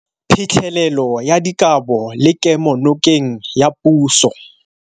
Phitlhelelo ya dikabo le kemonokeng ya puso.